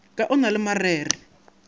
ka o na le marere